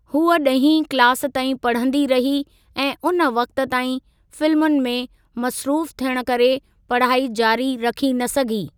हूअ ॾहीं क्लास ताईं पढ़ंदी रही ऐं उन वक़्ति ताईं फिल्मुनि में मसरूफ़ु थियणु करे पढ़ाई जारी रखी न सघी।